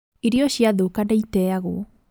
Irio ciathũka nĩiteagwo